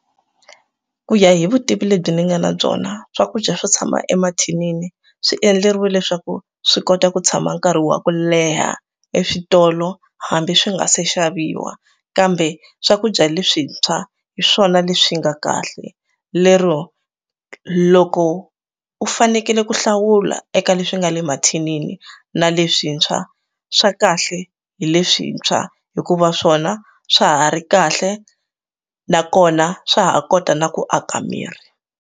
Ku ya hi vutivi lebyi ndzi nga na byona swakudya swo tshama emathinini swi endleriwe leswaku swi kota ku tshama nkarhi wa ku leha eswitolo hambi swi nga se xaviwa kambe swakudya leswintshwa hi swona leswi nga kahle lero loko u fanekele ku hlawula eka leswi nga le mathinini na leswintshwa swa kahle hi leswintshwa hikuva swona swa ha ri kahle nakona swa ha kota na ku aka miri.